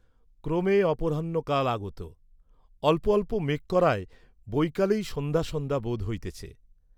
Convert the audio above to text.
ক্রমে অপরাহ্ন কাল আগত; অল্প অল্প মেঘ করায় বৈকালেই সন্ধ্যা সন্ধ্যা বোধ হইতেছে।